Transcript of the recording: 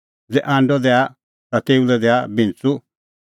ज़ै आंडअ मांगे ता तेऊ लै दैआ बिंच़ू